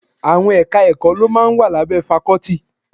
Àwọn Ẹ̀ka-ẹ̀kọ́ ló máa ń wà lábẹ́ fakọ́tì